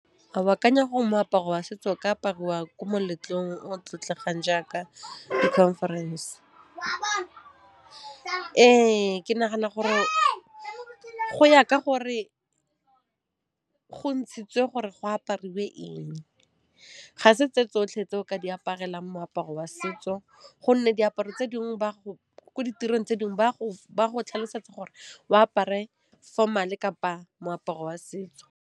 A o akanya gore moaparo wa setso o ka apariwa ko moletlong o tlotlegang jaaka di-conference? Ee, ke nagana gore go ya ka gore go ntshitswe gore go apariwe eng. Ga se tse tsotlhe tse o ka di aparelang moaparo wa setso gonne diaparo tse dingwe ko ditirong tse dingwe ba go tlhalosetsa gore o apare formal kapa moaparo wa setso.